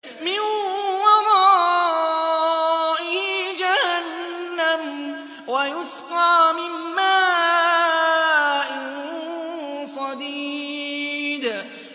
مِّن وَرَائِهِ جَهَنَّمُ وَيُسْقَىٰ مِن مَّاءٍ صَدِيدٍ